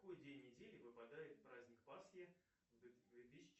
какой день недели выпадает праздник пасхи в две тысячи